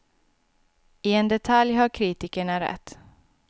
I en detalj har kritikerna rätt.